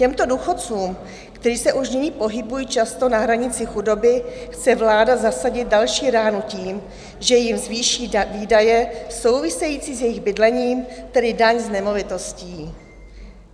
Těmto důchodcům, kteří se už nyní pohybují často na hranici chudoby, chce vláda zasadit další ránu tím, že jim zvýší výdaje související s jejich bydlením, tedy daň z nemovitostí.